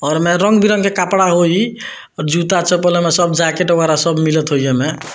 और एमे रंग-बिरंग के कपड़ा होई अर जूता-चप्पल एमे सब जाकेट वगैरह सब मिलत हो येमे।